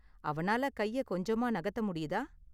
அவனால கைய கொஞ்சமா நகத்த முடியுதா?